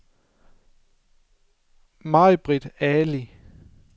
Majbritt Ali